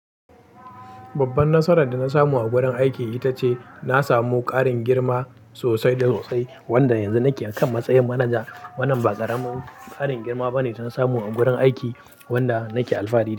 Babban nasarar da na samu a gurin aiki ita ce, na samu ƙarin girma sosai da sosai, wanda yanzu nike akan matsayin manaja. Wannan ba ƙaramin ƙarin girma bane da na samu a wurin aiki, wanda nake alfahari.